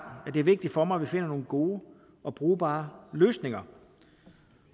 at det er vigtigt for mig at vi finder nogle gode og brugbare løsninger